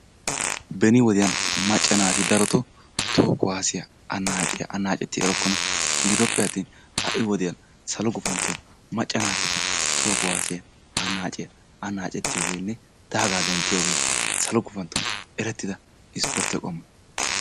Beni wodiyaan macca naati darotoo toho kuwaasiya annaaciya annaacetti erokkona gidoppe attin ha'i wodiyan salo gufantton macca naatikka toho kuwaasiya annaaciya anaacettiyogeenne daagaa denttiyooge salo gufantton erettida ispportte qommo.